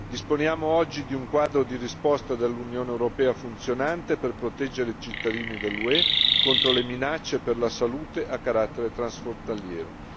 Disponiamo oggi di un quadro di risposta dell'Unione europea funzionante per proteggere i cittadini dell'UE contro le minacce per la salute a carattere transfrontaliero.